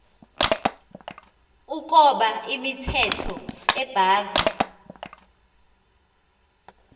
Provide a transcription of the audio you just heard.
ukoba imithetho ebhahve